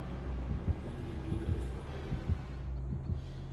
ogeno ni biro e chokruogno,